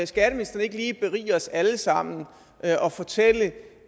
skatteministeren ikke lige berige os alle sammen og fortælle